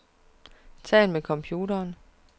Tal med computeren.